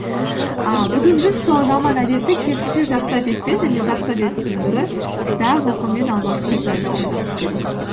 ііі бүгін біз сол жаман әдетті керісінше жақсы әдетпен және жақсы әдеттің бірі кітап оқумен алмастыру жайлы ойланып көрейік